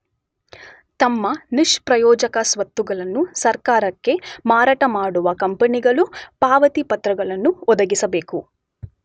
ತಮ್ಮ ನಿಷ್ಪ್ರಯೋಜಕ ಸ್ವತ್ತುಗಳನ್ನು ಸರ್ಕಾರಕ್ಕೆ ಮಾರಾಟಮಾಡುವ ಕಂಪನಿಗಳು ಪಾವತಿ ಪತ್ರಗಳನ್ನು ಒದಗಿಸಬೇಕು.